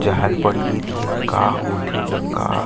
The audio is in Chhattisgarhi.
जहाज पड़ा ही दिहे का होथे न का--